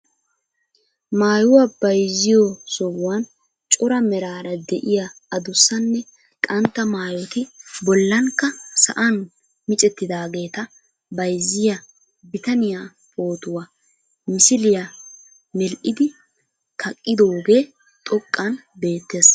Maayuwa bayzziyo sohuwan cora meraara de'iya adussanne qantta maayoti bollankka sa'an micvettidaageeta bayzziya bitaniya pootuwa misiliya medhdhidi kaqqidoogee xoqqan beettees.